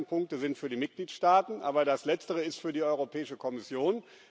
Die ersten Punkte sind für die Mitgliedstaaten, aber das Letztere ist für die Europäische Kommission.